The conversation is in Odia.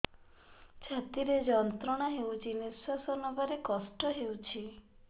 ଛାତି ରେ ଯନ୍ତ୍ରଣା ହଉଛି ନିଶ୍ୱାସ ନେବାରେ କଷ୍ଟ ହଉଛି